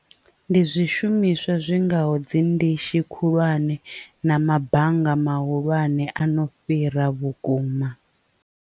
Ndi zwishumiswa zwi ngaho dzi ndishi khulwane na mabanga mahulwane ano fhira vhukuma.